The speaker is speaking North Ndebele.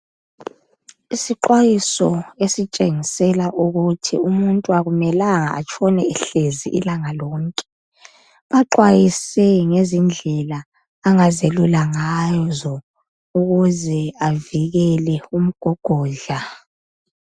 Isixwayiso esitshengisela ukuthi umuntu akumelanga atshone ehlezi ilanga lonke. Baxwayise ngezindlela umuntu angazelula ngazo ukuze avikele umgogodla